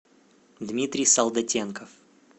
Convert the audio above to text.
дмитрий солдатенков